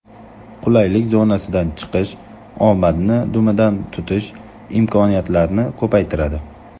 Qulaylik zonasidan chiqish omadni dumidan tutish imkoniyatlarini ko‘paytiradi.